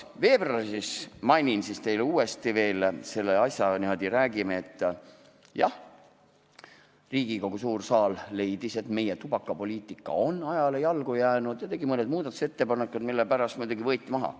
Veebruaris, mainin teile veel uuesti, jah, Riigikogu suur saal leidis, et meie tubakapoliitika on ajale jalgu jäänud, ja tegi mõned muudatusettepanekud, mille pärast võeti eelnõu muidugi menetlusest maha.